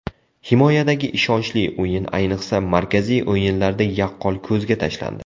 Himoyadagi ishonchli o‘yin ayniqsa markaziy o‘yinlarda yaqqol ko‘zga tashlandi.